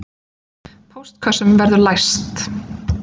Póstkössum verður læst